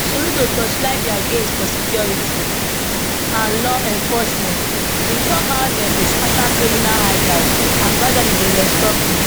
soludo torchlight dia gains for security and law enforcement e tok how dem dey scata criminal hideouts and gradually dey restore peace